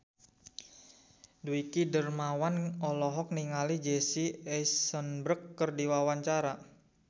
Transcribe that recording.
Dwiki Darmawan olohok ningali Jesse Eisenberg keur diwawancara